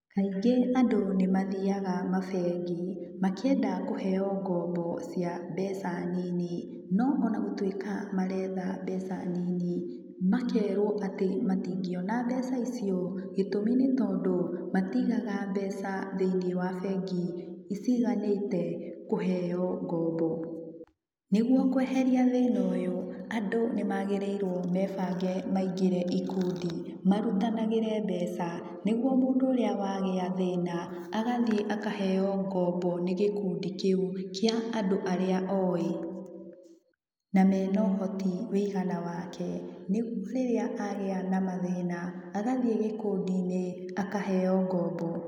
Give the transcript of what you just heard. Kaingĩ andũ nĩmathiaga mabengi makĩenda kũheo ngombo cia mbeca nini, no ona gũtuĩka marenda mbeca nini makerwo atĩ matingĩona mbeca icio gĩtũmi nĩ tondũ matigaga mbeca thĩinĩ wa bengi ciganĩte kũheo ngombo. Nĩguo kweheria thĩna ũyũ andũ nĩmagĩrĩirwo mebange maingĩre ikundi marutanagĩre mbeca nĩguo mũndũ ũrĩa wagĩa thĩna agathie akaheo ngombo nĩ gĩkundi kĩu kia andũ aria oĩ na mena ũhoti wũigana wake nĩguo rĩrĩa agĩa na mathĩna agathie gĩkundi-inĩ akaheo ngombo.